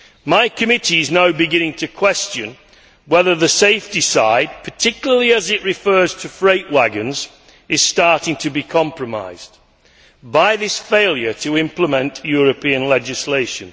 My committee is now beginning to question whether the safety side, particularly as it refers to freight wagons, is starting to be compromised by this failure to implement European legislation.